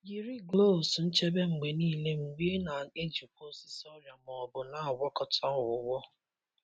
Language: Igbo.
Yiri gloves nchebe mgbe niile mgbe ị na-ejikwa osisi ọrịa ma ọ bụ na-agwakọta ọgwụgwọ.